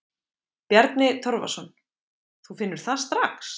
Bjarni Torfason: Þú finnur það strax?